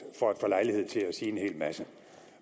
for at få lejlighed til at sige en hel masse